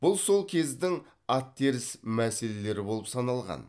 бұл сол кездің аттеріс мәселелері болып саналған